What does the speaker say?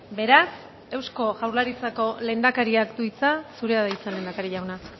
beraz eusko jaurlaritzako lehendakariak du hitza zurea da hitza lehendakari jauna